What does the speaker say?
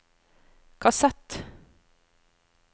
kassett